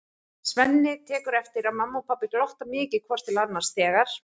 Svenni tekur eftir að mamma og pabbi glotta mikið hvort til annars þegar